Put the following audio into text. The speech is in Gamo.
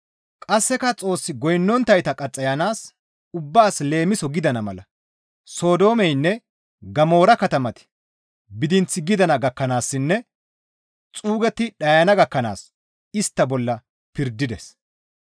Qasseka Xoos goynnonttayta qaxxayanaas ubbaas leemiso gidana mala Sodoomeynne Gamoora katamati bidinth gidana gakkanaassinne xuugetti dhayana gakkanaas istta bolla pirdides.